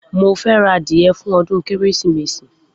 Mo fẹ́ ra adìyẹ fún ọdún Kérésìmesì